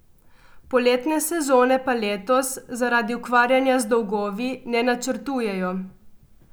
Poletne sezone pa letos zaradi ukvarjanja z dolgovi ne načrtujejo.